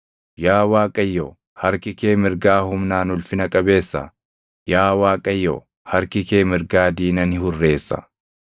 Yaa Waaqayyo, harki kee mirgaa humnaan ulfina qabeessa. Yaa Waaqayyo, harki kee mirgaa diina ni hurreessa.